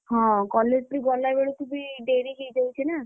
ହଁ college ବି ଗଲାବେଳେ ତୁ ବି ଡେରି ହେଇଯାଉଛି ନା।